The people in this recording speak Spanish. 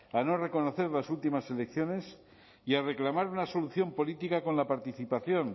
a no reconocer las últimas selecciones y a reclamar una solución política con la participación